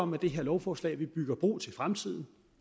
med det her lovforslag bygger bro til fremtiden